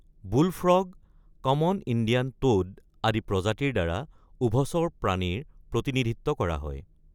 বুল frog, common Indian toad আদি প্ৰজাতিৰ দ্বাৰা উভচৰ প্ৰাণীৰ প্ৰতিনিধিত্ব কৰা হয়।